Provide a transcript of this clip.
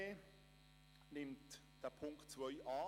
Die glp nimmt Punkt 2 an.